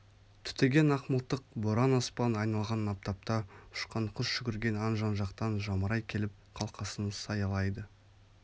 түтеген ақмылтық боран аспан айналған аптапта ұшқан құс жүгірген аң жан-жақтан жамырай келіп қалқасын саялайды